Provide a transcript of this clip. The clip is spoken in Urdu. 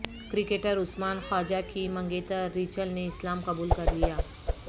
کرکٹر عثمان خواجہ کی منگیتر ریچل نے اسلام قبول کرلیا